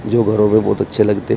जो घरों में बहोत अच्छे लगते हैं।